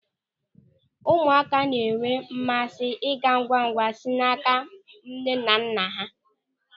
Ụmụaka na-enwe mmasị ige ngwamngwam si n'áká nnenanna ha.